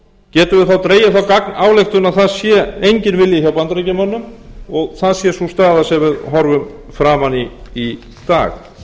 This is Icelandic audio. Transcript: þá dregið þá gagnályktun að það sé enginn vilji hjá bandaríkjamönnum og það sé sú staða sem við horfum framan í í dag